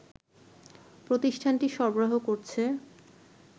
প্রতিষ্ঠানটি সরবরাহ করছে